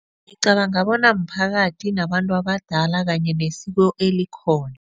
Ngicabanga bona mphakathi nabantu abadala kanye nesiko elikhona.